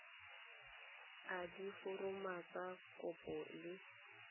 a diforomo tsa kopo le